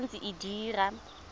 e sa ntse e dira